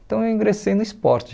Então eu ingressei no esporte.